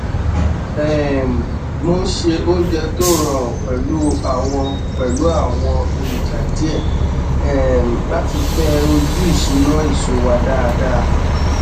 um mo ṣe oúnjẹ tó rọrùn pẹlú àwọn pẹlú àwọn èròjà díẹ um láti fẹ ojú ìṣúná èso wa dáadáa